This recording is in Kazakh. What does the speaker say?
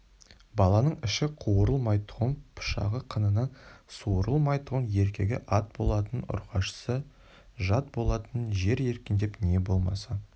баланың іші қуырылмайтұғын пышағы қынынан суырылмайтұғын еркегі ат болатын ұрғашысы жат болатын жер екендеп не болмаса